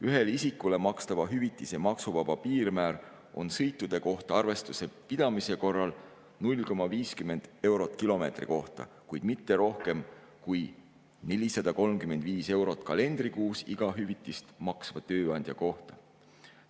Ühele isikule makstava hüvitise maksuvaba piirmäär on sõitude kohta arvestuse pidamise korral 0,50 eurot kilomeetri kohta, kuid mitte rohkem kui 435 eurot kalendrikuus iga hüvitist maksva tööandja kohta.